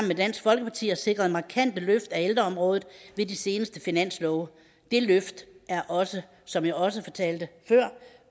med dansk folkeparti har sikret markante løft af ældreområdet ved de seneste finanslove det løft er også som jeg også fortalte før